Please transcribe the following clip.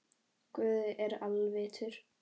Guð er alvitur